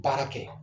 Baara kɛ